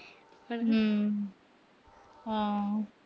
ਹੂੰ। ਹੂੰ।